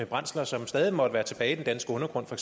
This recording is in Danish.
brændsler som stadig måtte være tilbage i den danske undergrund for